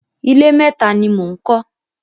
Ilé méta ni mò ń kọ́.